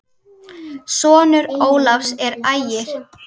Sonur Ólafs er Ægir.